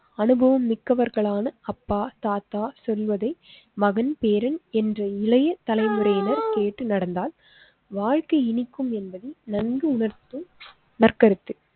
அனுபவம் மிக்கவர்களான அப்பா தாத்தா சொல்வதை மகன் பேரன் என்று இளைய தலை முறையினர் கேட்டு நடந்தால் வாழ்க்கை இனிக்கும் என்பதை நன்கு உணர்த்தும் நற்க்கருத்து.